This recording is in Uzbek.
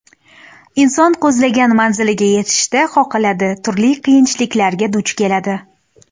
Inson ko‘zlagan manziliga yetishda qoqiladi, turli qiyinchiliklarga duch keladi.